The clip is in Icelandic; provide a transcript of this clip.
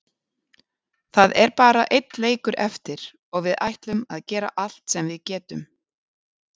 Það er bara einn leikur eftir og við ætlum að gera allt sem við getum.